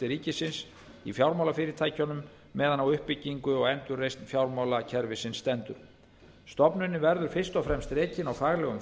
ríkisins í fjármálafyrirtækjunum meðan á uppbyggingu og endurreisn fjármálakerfisins stendur stofnunin verður fyrst og fremst rekin á faglegum